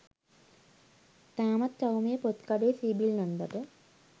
තාමත් ටවුමේ පොත් කඩේ සීබිල් නැන්දට